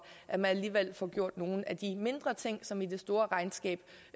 at man alligevel får gjort nogle af de mindre ting som i det store regnskab